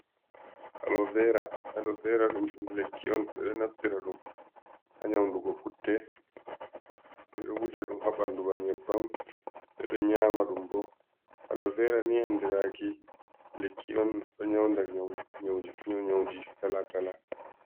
Alo vera, alo vera ɗum lekki on ɓeɗo on naftira ɗum ha nyaundugo putte, ɓeɗo wuja ɗum ha ɓandu ba nyebbam, ɓeɗo nyama ɗum bo, alo vera ni andiraɗum lekki on, ɗo nyaunda nyawuji kala kala.